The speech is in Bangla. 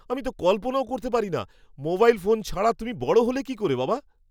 আমি তো কল্পনাও করতে পারি না, মোবাইল ফোন ছাড়া তুমি বড় হলে কী করে, বাবা?